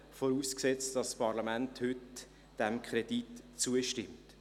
Dies unter der Voraussetzung, dass das Parlament dem Kredit heute zustimmt.